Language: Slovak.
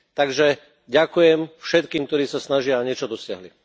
Takže ďakujem všetkým, ktorí sa snažia a niečo dosiahli.